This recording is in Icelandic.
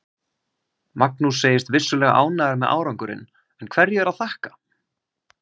Magnús segist vissulega ánægður með árangurinn, en hverju er að þakka?